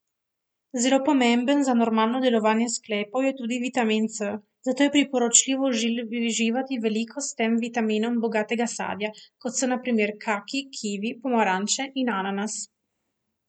Zelo pomemben za normalno delovanje sklepov je tudi vitamin C, zato je priporočljivo uživati veliko s tem vitaminom bogatega sadja, kot so na primer kaki, kivi, pomaranče in ananas.